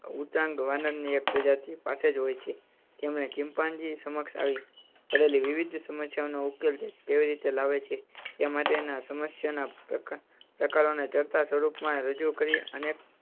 ઉટાંગ વાનર ની એક પ્રજાતિ પાસે જ હોય છે. તેમણે ચિંપાંજી સામે આવી પડેલી વિવિધ સમસ્યાઓ નો ઉકેલ કેવી રીતે લાવે છે એ માટે ના સમસ્યા ના પ્રકાર, પ્રકારો ને દ્રઢતા સ્વરૂપ માં રજૂ કરી અને